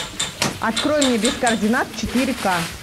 открой мне без координат четыре ка